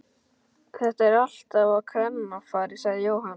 Þetta er alltaf á kvennafari sagði Jóhann.